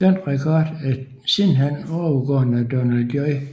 Denne rekord er sidenhen overgået af Donald J